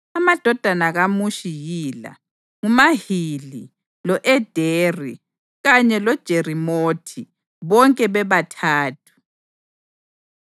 Amadodana kaMushi yila: nguMahili, lo-Ederi kanye loJerimothi, bonke bebathathu.